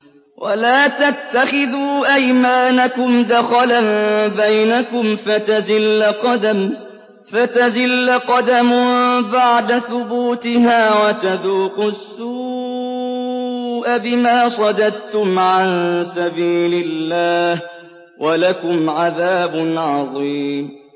وَلَا تَتَّخِذُوا أَيْمَانَكُمْ دَخَلًا بَيْنَكُمْ فَتَزِلَّ قَدَمٌ بَعْدَ ثُبُوتِهَا وَتَذُوقُوا السُّوءَ بِمَا صَدَدتُّمْ عَن سَبِيلِ اللَّهِ ۖ وَلَكُمْ عَذَابٌ عَظِيمٌ